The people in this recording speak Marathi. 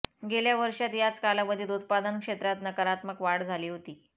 गेल्या वर्षात याच कालावधीत उत्पादन क्षेत्रात नकारात्मक वाढ झाली होती